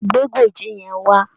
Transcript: Gbe Gòjé yẹn wá!